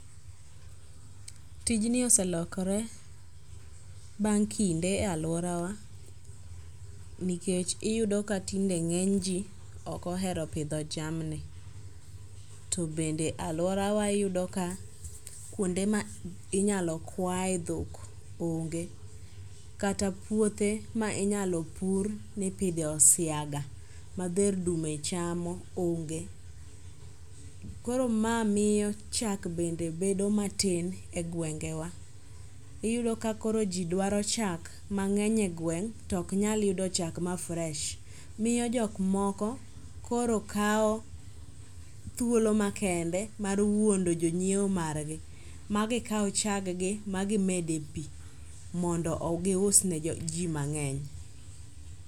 Tijni oselokore bang' kinde e alworawa nikech iyudo ka tinde ng'eny ji ok ohero pidho jamni, to bende alworawa iyudo ka kuonde ma inyalo kwaye dhok onge. Kata puothe ma inyalo pur mipidhe osiaga ma dher dume chamo onge. Koro ma miyo chak bende bedo matin e gwengewa. Iyudo ka koro ji dwaro chak mang'eny e gweng' to ok nyal yudo chak ma fresh. Miyo jokmoko koro kawo thuolo makende mar wuondo jonyieo margi magikaw chaggi magimed e pi mondo giusne ji mang'eny.